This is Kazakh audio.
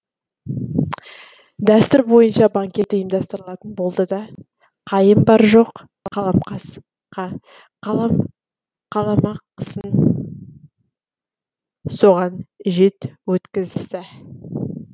дәстүр бойынша банкет ұйымдастырылатын болды да қайым бар жоқ қаламақысын соған өткізе